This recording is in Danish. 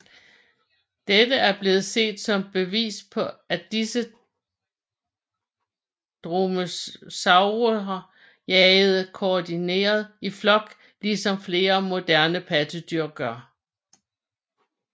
Dette er blevet set som bevis på at disse dromaeosaurer jagede koordineret i flok ligesom flere moderne pattedyr gør